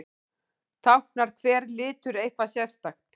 Táknar hver litur eitthvað sérstakt?